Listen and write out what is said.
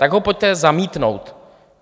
Tak ho pojďte zamítnout.